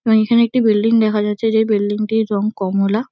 এবং এখানে একটি বিল্ডিং দেখা যাচ্ছে যেই বিল্ডিং -টির রঙ কমলা।